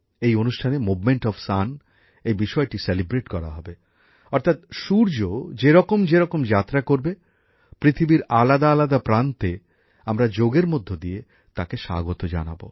এই অনুষ্ঠানে সূর্যর গতিপ্রকৃতিকে উদযাপন করা হবে অর্থাৎ সূর্য যেরকম যেরকম যাত্রা করবে পৃথিবীর আলাদা আলাদা প্রান্তে আমরা যোগের মধ্য দিয়ে তাকে স্বাগত জানাবো